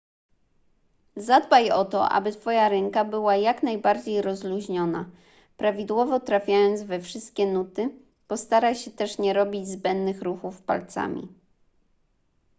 zadbaj o to aby twoja ręka była jak najbardziej rozluźniona prawidłowo trafiając we wszystkie nuty postaraj się też nie robić zbędnych ruchów palcami